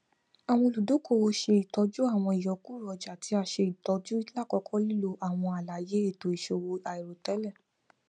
awọn oludokoowo ṣe itọju awọn iyọkuro ọja ti a ṣe itọju lakoko lilo awọn alaye eto iṣowo airotẹlẹ